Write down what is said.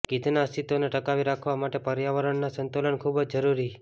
ગીધના અસ્તિત્વને ટકાવી રાખવા માટે પર્યાવરણનું સંતુલન ખૂબ જ જરૂરી